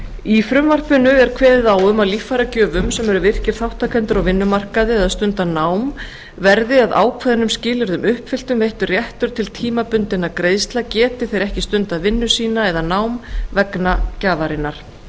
í frumvarpinu er kveðið á um að líffæragjöfum sem eru virkir þátttakendur á vinnumarkaði eða stunda nám verði að ákveðnum skilyrðum uppfylltum veittur réttur til tímabundinna greiðslna geti þeir ekki stundað vinnu sína eða nám vegna gjafarinnar